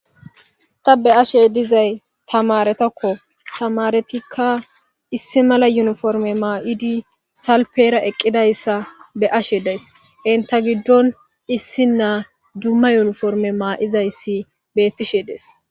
ta be'ashe dizay tamaretakko tamaretikka issi mala yuniforme maa'idi salpera eqqidayssa be'ashe days inta giddon issi naa dumma yuniforme maa'izayssi bettishe dees